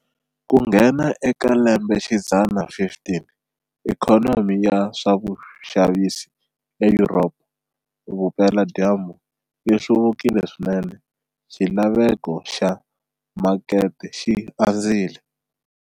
Ku nghena eka lembexidzana 15, ikhonomi ya swixavisiwa eYuropa Vupela-dyambu yi hluvukile swinene, xilaveko xa makete xi andzile.